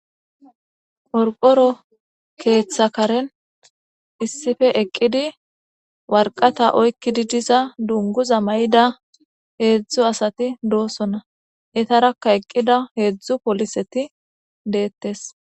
Qorqoro keeththa karen issippe eqqidi waraqate oyqqidi diza dunguza mayida heedzdzu asati doosona. Etarakka eqqida heedzdzu pooliseti deettes.